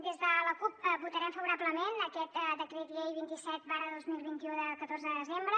des de la cup votarem favorablement aquest decret llei vint set dos mil vint u de catorze de desembre